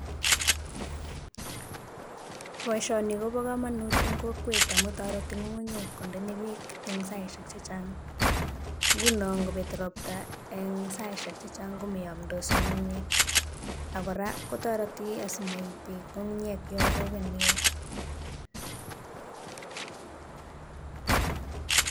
Boisioni kobo kamanut eng kokwet amu toreti ng'ung'unyek kondeme peek eng saiaiek chechang. Nguno ngobet robta eng saisiek chechang komayamdos ak kora kotoreti asimaib peek ng'ung'unyek yo karobon neo.